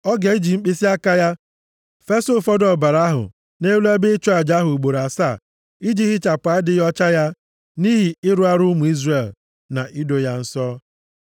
Ọ ga-eji mkpịsịaka ya fesa ụfọdụ ọbara ahụ nʼelu ebe ịchụ aja ahụ ugboro asaa iji hichapụ adịghị ọcha ya nʼihi ịrụ arụ ụmụ Izrel, na ido ya nsọ.